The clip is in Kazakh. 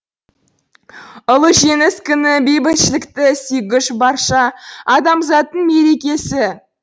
ұлы жеңіс күні бейбітшілікті сүйгіш барша адамзаттың мерекесі